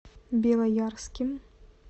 белоярским